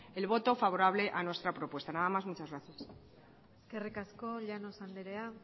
el voto favorable a nuestra propuesta nada más muchas gracias eskerrik asko llanos andrea